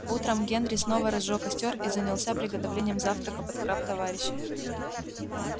утром генри снова разжёг костёр и занялся приготовлением завтрака под храп товарища